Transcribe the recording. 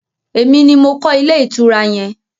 Emi ni mo kọ́ ilé ìtura yẹn.